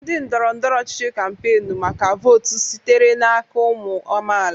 Ndị ndọrọ ndọrọ ọchịchị kampainu maka votu sitere n'aka ụmụ amaala.